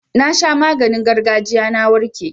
Na sha maganin gargajiya na warke.